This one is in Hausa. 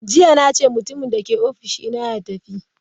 Jiya nace mutumin dake office dina ya tafi!